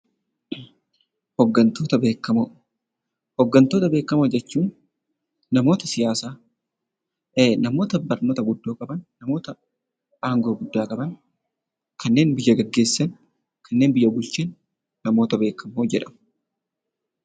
Hoggontoota beekamoo. Hoggantoota beekamoo jechuun namoota siyaasaa, namoota barumsaan iddoo qaban, namoota aangoo guddaa qaban kanneen biyya gaggeessanii fi biyya bulchan namoota beekamoo jedhamu.